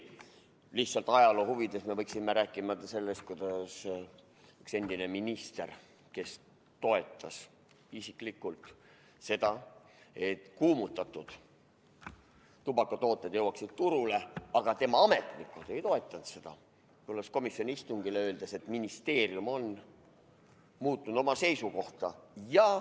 Lihtsalt ajaloo huvides võiksime rääkida endisest ministrist, kes toetas isiklikult seda, et kuumutatavad tubakatooted jõuaksid turule, aga tema ametnikud ei toetanud seda, tulles komisjoni istungile ja öeldes, et ministeerium on muutnud oma seisukohta.